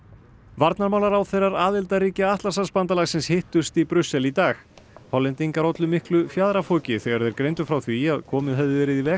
varnarmálaráðherrar aðildarríkja Atlantshafsbandalagsins hittust í Brussel í dag Hollendingar ollu miklu fjaðrafoki þegar þeir greindu frá því að komið hefði verið í veg